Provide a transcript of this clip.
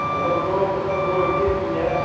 hello bro சொல்லுங்க bro எப்படி இருக்கிங்க?